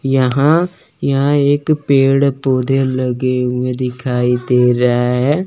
यहाँ यहाँ एक भी पेड़ पौधे लगे हुए दिखाई दे रहा है।